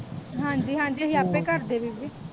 ਹਾਂਜੀ ਹਾਂਜੀ ਅਸੀਂ ਆਪੇ ਕਰਦੇ ਬੀਬੀ